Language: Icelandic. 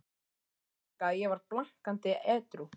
Ég man það líka, að ég var blankandi edrú.